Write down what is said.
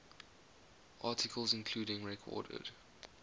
articles including recorded